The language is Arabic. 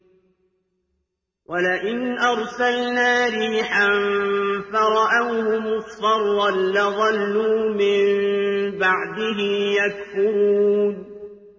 وَلَئِنْ أَرْسَلْنَا رِيحًا فَرَأَوْهُ مُصْفَرًّا لَّظَلُّوا مِن بَعْدِهِ يَكْفُرُونَ